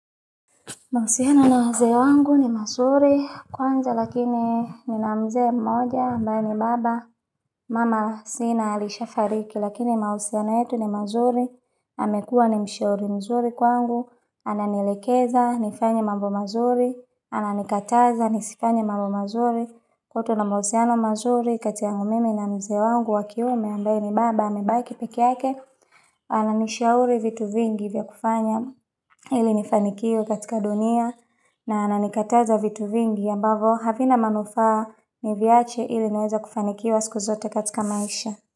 Mahusiano na wazee wangu ni mazuri, kwanza lakini nina mzee mmoja ambaye ni baba, mama sina alisha fariki lakini mahusiano yetu ni mazuri, amekuwa ni mshauri mzuri kwangu, ana nielekeza, nifanye mambo mazuri, ana nikataza, nisifanye mambo mazuri, kwetu wana mahusiana mazuri kati yangumimi na mzee wangu wakiume ambaye ni baba, amebaki pekeyake, ana nishauri vitu vingi vya kufanya ili nifanikiwa katika dunia na ananikataza vitu vingi ambavo havina manufaa niviache ili niweze kufanikiwa siku zote katika maisha.